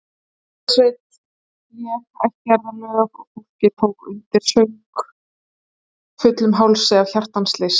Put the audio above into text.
Lúðrasveit lék ættjarðarlög og fólkið tók undir, söng fullum hálsi af hjartans lyst.